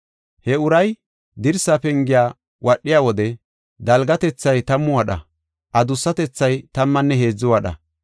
He uray dirsa pengiya wadhiya wode dalgatethay tammu wadha, adussatethay tammanne heedzu wadha.